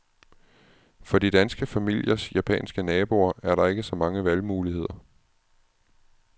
For de danske familiers japanske naboer er der ikke så mange valgmuligheder.